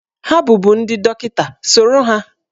Ha bụbu ndị dọkịta, soro ha!